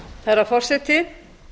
herra forseti